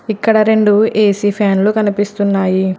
ఇక్కడ రెండు ఏ_సీ ఫ్యాన్లు కనిపిస్తున్నాయి.